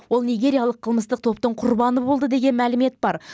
ол нигериялық қылмыстық топтың құрбаны болды деген мәлімет бар